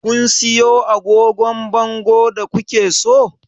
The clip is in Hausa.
Kun siyo agogon bangon da ku ke so?